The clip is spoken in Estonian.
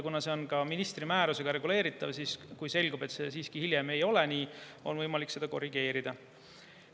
See on ministri määrusega reguleeritav, nii et kui hiljem selgub, et see siiski ei ole nii, on võimalik seda korrigeerida.